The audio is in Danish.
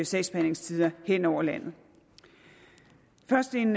sagsbehandlingstider hen over landet først en